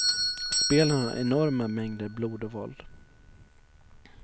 Spelen har enorma mängder blod och våld.